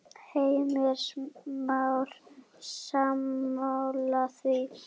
Heimir Már: Sammála því?